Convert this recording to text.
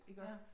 Ja